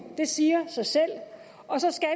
det siger sig selv og så skal